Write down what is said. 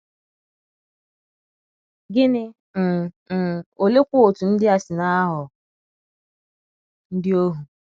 Gini n' n' oleekwa otú ndị a si na - aghọ ndị ohu?